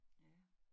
Ja